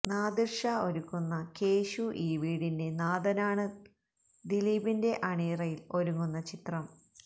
നാദിര്ഷാ ഒരുക്കുന്ന കേശു ഈ വീടിന്റെ നാഥനാണ് ദിലീപിന്റെ അണിയറയില് ഒരുങ്ങുന്ന ചിത്രം